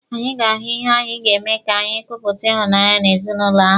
Anyị ga-ahụ ihe anyị ga-eme ka anyị kepụta ịhụnanya n'ezinụlọ ahụ.